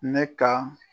Ne ka